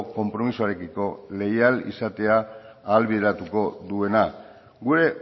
konpromisoarekiko leial izatea ahalbideratuko duena gure